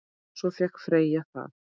Svo fékk Freyja það.